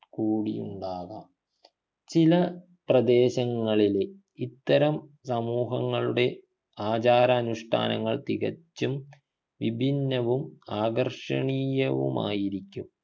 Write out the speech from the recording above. കൂടിയുണ്ടാകാം ചില പ്രദേശങ്ങളിലെ ഇത്തരം സമൂഹങ്ങളുടെ ആചാരാനുഷ്ഠാനങ്ങൾ തികച്ചും വിഭിന്നവും ആകർഷണീയവുമായിരിക്കും